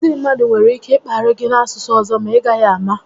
Ndị mmadụ nwere ike ị kparị gị n'asụsụ ọzọ ma i gaghị àmà